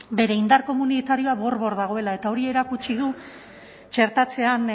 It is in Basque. bere indar komunitarioa bor bor dagoela eta hori erakutsi du txertatzean